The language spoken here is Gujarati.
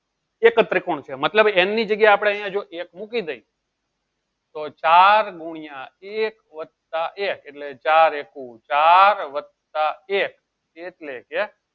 એકજ ત્રિકોણ છે મતલબ n ની જગ્યા આપળે જો એક મૂકી દેયીયે તો ચાર ગુણ્યા એક વત્તા એક એટલે ચાર એકુ ચાર વત્તા એક એટલ એછે